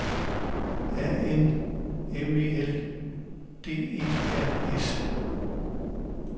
A N M E L D E R S